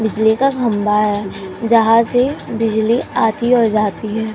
बिजली का खंबा है जहां से बिजली आती औ जाती है।